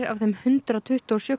af þeim hundrað tuttugu og sjö